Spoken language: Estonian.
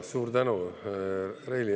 Suur tänu, Reili!